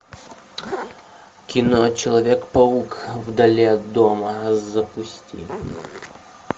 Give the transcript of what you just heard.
кино человек паук вдали от дома запусти